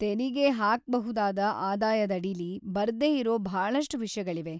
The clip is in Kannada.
ತೆರಿಗೆ ಹಾಕ್ಬಹುದಾದ ಆದಾಯದ್ ಅಡಿಲಿ ಬರ್ದೇ ಇರೋ ಭಾಳಷ್ಟ್ ವಿಷ್ಯಗಳಿವೆ.